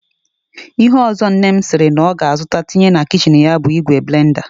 Ihe ọzọ nne m sịrị na ọ ga-azụta tinye na kichin ya bụ ìgwè blenda